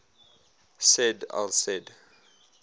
said al said